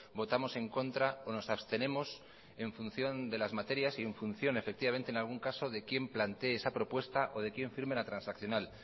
votamos en contra o nos abstenemos en función de las materias y en función efectivamente en algún caso de quién plantee esa propuesta o de quien firme la transaccional